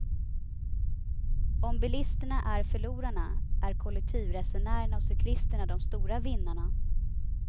Om bilisterna är förlorarna är kollektivresenärerna och cyklisterna de stora vinnarna.